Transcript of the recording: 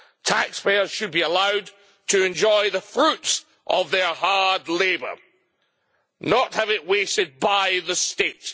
Taxpayers should be allowed to enjoy the fruits of their hard labour, and not have it wasted by the state.